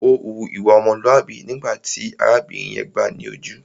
Ó hu ìwà ọmọlúàbí nígbà tí arábìnrin yẹn gbáà ni ojú.